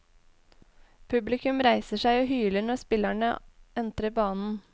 Publikum reiser seg og hyler når spillerne entrer banen.